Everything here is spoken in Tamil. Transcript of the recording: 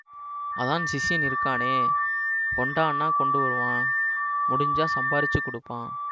அதான் சிஷ்யன் இருக்கானே கொண்டான்னா கொண்டுவரான் முடிஞ்சா சம்பாரிச்சுக் குடுப்பான்